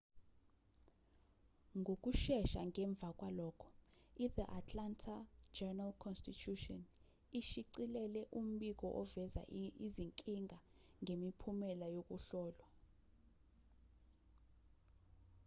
ngokushesha ngemva kwalokho ithe atlanta journal-constitution ishicilele umbiko oveza izinkinga ngemiphumela yokuhlolwa